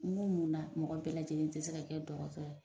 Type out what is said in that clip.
N ko mun na mɔgɔ bɛɛ lajɛlen tɛ se ka kɛ dɔgɔtɔ ye?